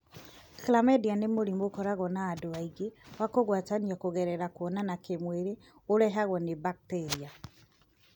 Chlamydia nĩ mũrimũ ũkoragwo na andũ aingĩ wa kũgwatanio kũgerera kũonana kĩmwĩrĩ ũrehagwo nĩ mbakitĩria.